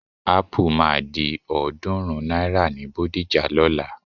Ápù máa di ọ̀ọ́dúnrún náírà ni Bódìjà lọ́la.